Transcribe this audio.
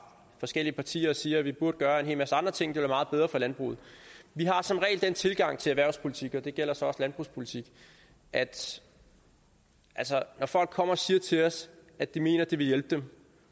forskellige partier og siger at vi burde gøre en hel masse andre ting være meget bedre for landbruget vi har som regel den tilgang til erhvervspolitik og det gælder så også landbrugspolitik at når folk kommer og siger til os at det mener de vil hjælpe dem